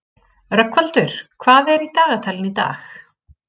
Rögnvaldur, hvað er í dagatalinu í dag?